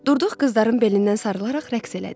Durduq qızların belindən sarılaraq rəqs elədik.